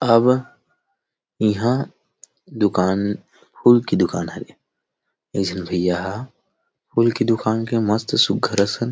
अब इहां दुकान फूल के दुकान हरे एक झन भैय्या हा फूल के दुकान के मस्त सुघघर असन